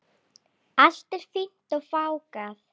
Allt er fínt og fágað.